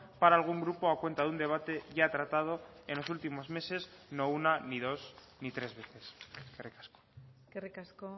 para algún grupo a cuenta de un debate ya tratado en los últimos meses no una ni dos ni tres veces eskerrik asko eskerrik asko